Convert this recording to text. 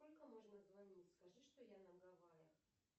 сколько можно звонить скажи что я на гавайях